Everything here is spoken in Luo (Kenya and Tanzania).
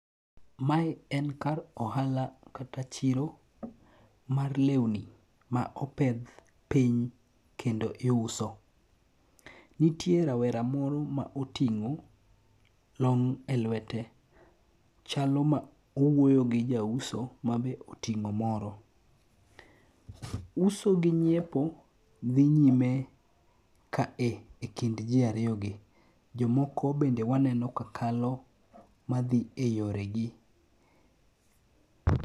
Mae en kar ohala kata chiro mar lewni ma opedh piny kendo iwuso. Nitie rawera moro ma oting'o long' e lwete. Chalo ma owuoye gi jauso mabe oting'o moro. Uso gi nyiepo dhi nyime ka e e kind ji ariyogi. Jomoko bende waneno ka kalo madhi eyore gi.